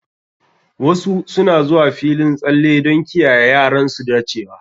Wasu suna zuwa filin tsalle don kiyaye yaran su dacewa.